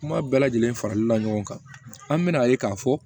Kuma bɛɛ lajɛlen farali la ɲɔgɔn kan an bi na ye k'a fɔ